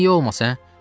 Axı niyə olmasın, hə?